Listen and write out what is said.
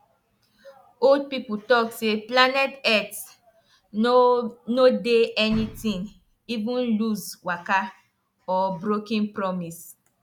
old people talk say planet earth no no dey anytin even loose waka or brokim promis